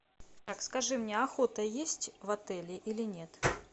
так скажи мне охота есть в отеле или нет